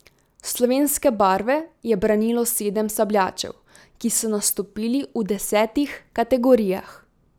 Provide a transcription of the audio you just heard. Slovenske barve je branilo sedem sabljačev, ki so nastopili v desetih kategorijah.